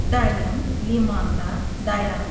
Dayım limanda dayanıb.